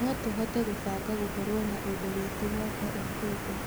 No tũhote gũbanga gũkorwo na ũndũ witũ mwaka ũkĩte.